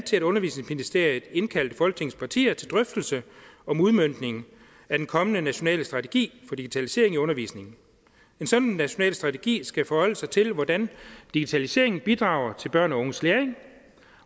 til at undervisningsministeriet indkaldte folketingets partier til drøftelser om udmøntningen af den kommende nationale strategi for digitalisering i undervisningen en sådan national strategi skal forholde sig til hvordan digitaliseringen bidrager til børn og unges læring